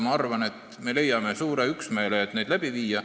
Ma arvan, et me leiame üksmeele, et neid läbi viia.